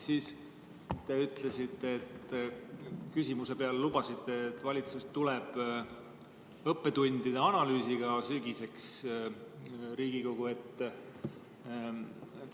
Siis te ütlesite, küsimise peale lubasite, et valitsus tuleb õppetundide analüüsiga sügiseks Riigikogu ette.